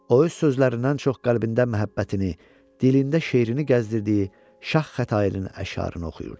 O öz sözlərindən çox qəlbində məhəbbətini, dilində şeirini gəzdirdiyi Şah Xətainin əşarını oxuyordu.